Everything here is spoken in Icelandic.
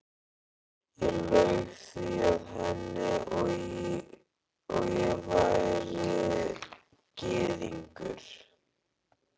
Ég laug því að henni, að ég væri gyðingur